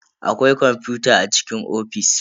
Akwai kwamfuta a cikin ofis.